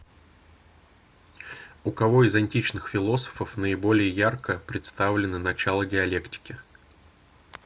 у кого из античных философов наиболее ярко представлены начала диалектики